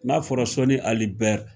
N'a fɔra sɔni ali bɛri